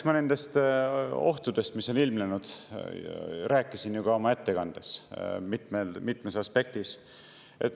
No eks ma nendest ohtudest, mis on ilmnenud, rääkisin ju ka oma ettekandes mitmest aspektist.